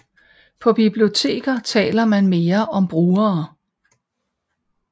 På biblioteker taler man mere om brugere